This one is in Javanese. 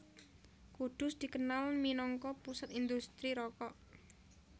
Kudus dikenal minangka pusat indhustri rokok